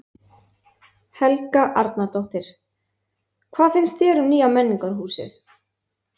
Helga Arnardóttir: Hvað finnst þér um nýja menningarhúsið?